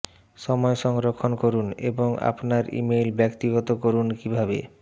সময় সংরক্ষণ করুন এবং আপনার ইমেইল ব্যক্তিগত করুন কিভাবে